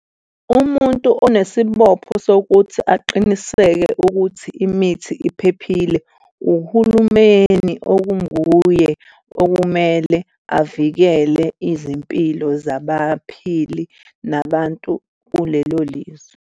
Umuntu onesibopho sokuthi aqiniseke ukuthi imithi iphephile uhulumeni okunguye okumele avikele izimpilo zabaphili nabantu kulelo lizwe.